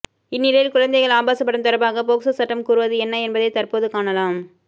இந்நிலையில் குழந்தைகள் ஆபாச படம் தொடர்பாக போக்சோ சட்டம் கூறுவது என்ன என்பதை தற்போது காணலாம்